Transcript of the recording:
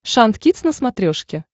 шант кидс на смотрешке